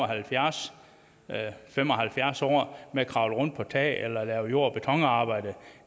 halvfjerds eller fem og halvfjerds år med at kravle rundt på tage eller lave jord og betonarbejde